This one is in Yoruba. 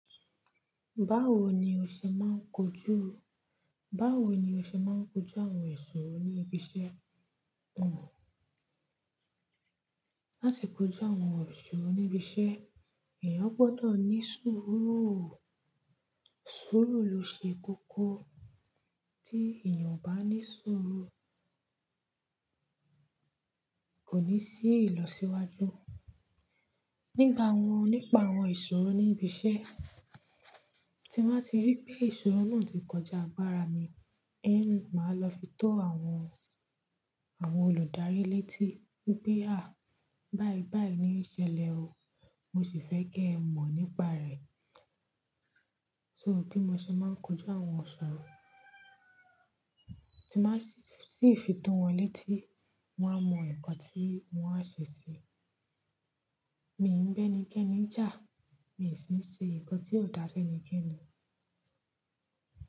Báwo ni o ṣe máa ń kojú, báwo ni o ṣe máa ń kojú àwọn isòro ní ibi iṣẹ́? Láti kojú àwọn isorò níbi iṣẹ́, èèyàn gbọ́dọ̀ ní sùúrù. Sùúrù ló ṣe kókó. Láti kojú àwọn isorò níbi iṣẹ́, èèyàn gbọ́dọ̀ ní sùúrù. Kò ní sí ìlọsíwájú. Nípa àwọn, nípa àwọn ìṣòro ní ibi iṣẹ́, tí máa ti rí pé ìṣòro náà ti kọjá agbára mi, én máa lọ fi tó àwọn, àwọn olùdarí létí pé à, báyìí báyìí ni í ṣẹlẹ̀ o, mo sì fẹ́ kí ẹ mọ̀ nípa rẹ̀. So bí mo ṣe máa ń kojú àwọn iṣòro, tí máa sì fi tó wọn létí, wọn á mọ nǹkan tí wọ́n á ṣe sí i. Mi ò ń bẹ́ni kẹ́ni jà, mi ò sì ń ṣe nǹkan tí ò dá ṣi enikẹ́ni.